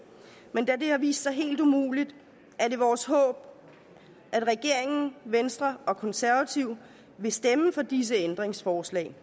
men da det har vist sig helt umuligt er det vores håb at regeringen venstre og konservative vil stemme for disse ændringsforslag